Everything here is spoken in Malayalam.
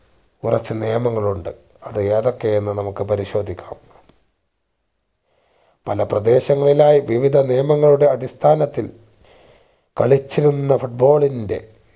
കുറച്ച് നിയമങ്ങൾ ഉണ്ട് അത് ഏതൊക്കെ എന്ന് നമുക്ക് പരിശോധിക്ക പല പ്രദേശങ്ങളിലായി വിവിധ നിയമങ്ങളുടെ അടിസ്ഥാനത്തിൽ കളിച്ചിരുന്ന foot ball ന്റെ